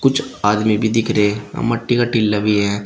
कुछ आदमी भी दिख रहे आ मट्टी का टिला भी है।